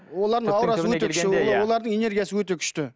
олардың энергиясы өте күшті